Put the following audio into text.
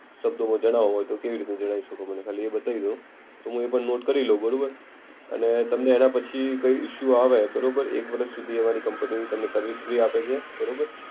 શબ્દોમાં જણાવો હોય તો કેવી રીતને જણાવી શકો મને ખાલી એ બતાવી દો. તો હું એક વાર નોટ કરી લેવ બરોબર. અને તમને એના પછી કઈ ઇશુ આવે બરોબર, એક વર્ષ સુધી અમારી કંપની તમને સર્વિસ ફ્રી આપે છે. બરોબર.